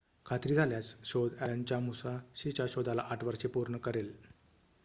खात्री झाल्यास शोध अॅलनच्या मुसाशीच्या शोधाला ८ वर्षे पूर्ण करेल